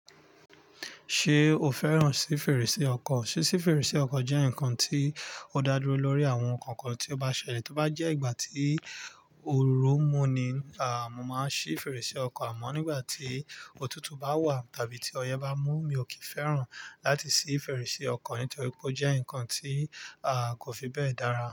Ṣé o fẹ́ràn sí fèrèsé ọkọ̀? Sí si fèrèsé ọkọ̀ jẹ́ nǹkan tí ó dá dúró lórí àwọn nǹkan kan tí ó bá ṣẹlẹ̀. Tí ó bá jẹ́ ìgbà tí oru mú ni, à mọ́ máa sì fèrèsé ọkọ̀. Àmọ́ nígbà tí òtútù bá wà yàbí tí ọyẹ́ bá mú, mi ò kì í fẹ́ràn láti sì fèrèsé ọkọ̀ nítorí pé ó jẹ́ nǹkan tí a kò fi bẹ́ẹ̀ dára.